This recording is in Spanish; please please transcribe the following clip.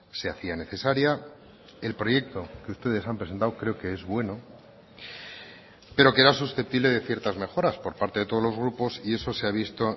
se hacía necesaria el proyecto que ustedes han presentado creo que es bueno pero que era susceptible de ciertas mejoras por parte de todos los grupos y eso se ha visto